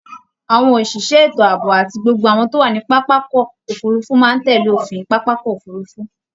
Âwọn òsìsẹ́ ètò ààbò àti gbogbo àwọn tó wà ní pápákọ̀ òfurufú máa ń tẹ̀lé òfin pápákọ̀ òfurufú